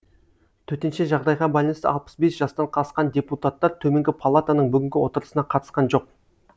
төтенше жағдайға байланысты алпыс бес жастан асқан депутаттар төменгі палатаның бүгінгі отырысына қатысқан жоқ